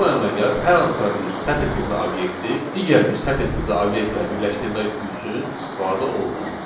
Bu əməliyyat hər hansısa bir sətr tipli obyekti digər bir sətr tipli obyektləri birləşdirmək üçün istifadə olunur.